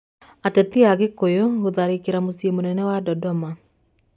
Ateti a Gĩkũyũ gũtharĩkĩra mũciĩ mũnene wa Dodoma